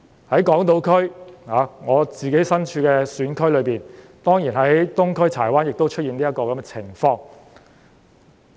在港島，我的選區東區柴灣亦出現這種情況。